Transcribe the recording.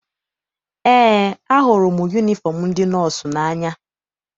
Eé, ahụrụ m yunifọm ndị nọọsụ n'anya.